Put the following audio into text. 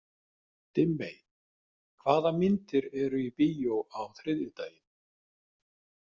Dimmey, hvað myndir eru í bíó þriðjudaginn?